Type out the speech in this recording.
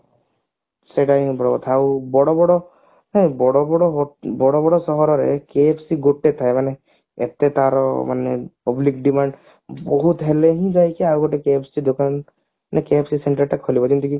ସେଟା ହିଁ ତ କଥା ଆଉ ବଡ ବଡ ହଁ ବଡ ବଡ ହୋ ବଡ ବଡ ସହରରେ KFC ଗୋଟେ ଥାଏ ମାନେ ଏତେ ତାର ମାନେ public demand ବହୁତ ହେଲେ ହିଁ ଯାଇକି ଆଉ ଗୋଟେ KFC ଦୋକାନ KFC center ଟା ଖୋଲିବ ଯେମିତିକି